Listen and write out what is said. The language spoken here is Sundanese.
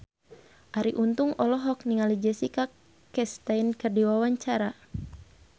Arie Untung olohok ningali Jessica Chastain keur diwawancara